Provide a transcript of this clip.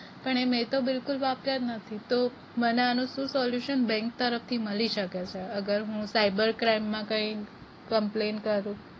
પણ એ મે તો બિલકુલ વાપર્યા જ નથી તો મને આનું શું solution bank તરફ થી મળી સકે છે અગર હું કઈ cyber crime માં કઈ complain કરું